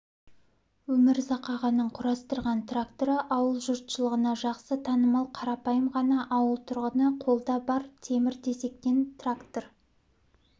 өмірзақ ағаның құрастырған тракторы ауыл жұртшылығына жақсы танымал қарапайым ғана ауыл тұрғыны қолда бар темір-тесектен трактор